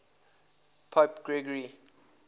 pope gregory